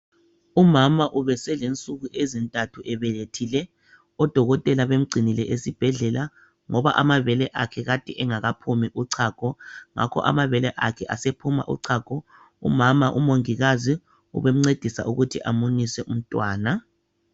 Umama ubeselensuku ezintathu ebelethile. Odokotela bemgcinile esibhedlela, ngoba amabele akhe kade engakaphumi uchago. Ngakho amabele akhe asephuma uchago. Umama, umongikazi ubemncedisa ukuthi amunyise umntwana.